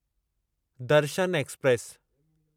Darshan express